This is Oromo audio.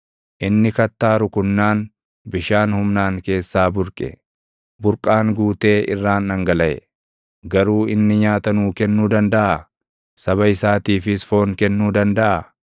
Inni kattaa rukunnaan bishaan humnaan keessaa burqe; burqaan guutee irraan dhangalaʼe. Garuu inni nyaata nuu kennuu dandaʼaa? Saba isaatiifis foon kennuu dandaʼaa?”